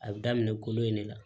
A bɛ daminɛ kolo in de la